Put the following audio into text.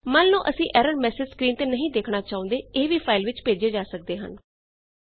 ਮੰਨ ਲਓ ਅਸੀਂ ਐਰਰ ਮੈੱਸੇਜ ਸਕ੍ਰੀਨ ਤੇ ਨਹੀਂ ਦੇਖਣਾ ਚਾਹੁੰਦੇ ਇਹ ਵੀ ਫਾਈਲ ਵਿੱਚ ਭੇਜੇ ਜਾ ਸਕਦੇ ਹਨ